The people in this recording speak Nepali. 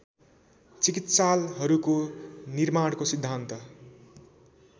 चिकित्सालहरूको निर्माणको सिद्धान्त